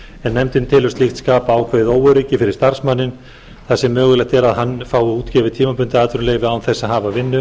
en nefndin telur slíkt skapa ákveðið óöryggi fyrir starfsmanninn þar sem mögulegt er að hann fái útgefið tímabundið atvinnuleyfi án þess að hafa vinnu